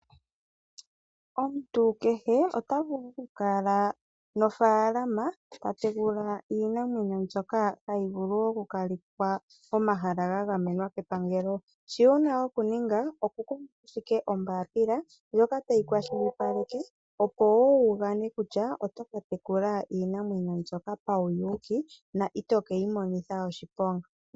Omuntu kehe ota vulu oku kala nofaalama ta tekula iinamwenyo mbyoka hayi vulu oku kalithwa pomahala ga gamenwa kepangelo, shi wuna okuninga oku kutha ashike ombaapila ndjoka tayi kwashilipaleke, opo wo wu gane kutya oto ka tekula iinamwenyo mbyoka pauyuuki na ito keyi monitha oshiponga.